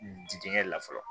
Jidigɛn la fɔlɔ